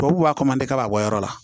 Tubabu b'a fɔ ko n tɛ ka bɔ a yɔrɔ la